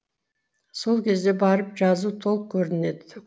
сол кезде барып жазу толық көрінеді